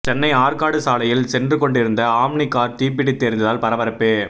சென்னை ஆற்காடு சாலையில் சென்று கொண்டிருந்த ஆம்னி கார் தீப்பிடித்து எரிந்ததால் பரபரப்பு